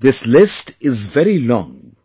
this list is very long